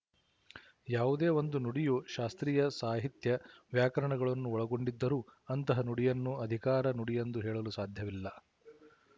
ಯಾವುದೇ ಒಂದು ನುಡಿಯು ಶಾಸ್ತ್ರೀಯ ಸಾಹಿತ್ಯ ವ್ಯಾಕರಣಗಳನ್ನು ಒಳಗೊಂಡಿದ್ದರೂ ಅಂತಹ ನುಡಿಯನ್ನು ಅಧಿಕಾರ ನುಡಿಯೆಂದು ಹೇಳಲು ಸಾಧ್ಯವಿಲ್ಲ